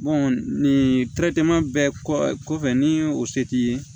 nin bɛɛ kɔfɛ ni o se t'i ye